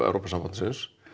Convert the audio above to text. Evrópusambandsins